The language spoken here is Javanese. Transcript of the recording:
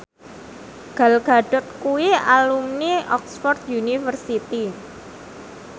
Gal Gadot kuwi alumni Oxford university